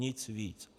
Nic víc.